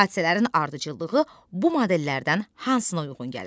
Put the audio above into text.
Hadisələrin ardıcıllığı bu modellərdən hansına uyğun gəlir?